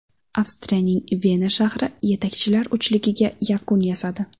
Avstriyaning Vena shahri yetakchilar uchligiga yakun yasadi.